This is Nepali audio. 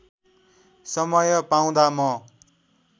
समय पाउँदा म